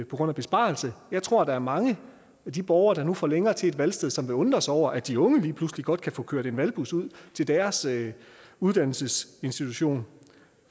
grund af besparelser jeg tror der er mange af de borgere der nu får længere til et valgsted som vil undre sig over at de unge lige pludselig godt kan få kørt en valgbus ud til deres uddannelsesinstitution